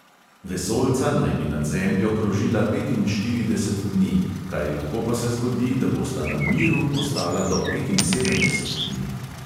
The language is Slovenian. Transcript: Vesoljca naj bi nad zemljo krožila petinštirideset dni, kaj lahko pa se zgodi, da bosta na miru ostala do petinsedemdeset dni.